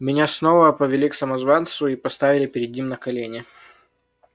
меня снова повели к самозванцу и поставили перед ним на колени